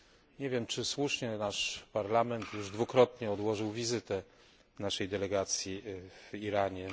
Nie wiem, czy słusznie nasz Parlament już dwukrotnie odłożył wizytę naszej delegacji w Iranie.